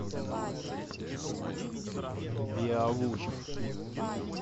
беовульф